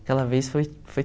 Aquela vez foi foi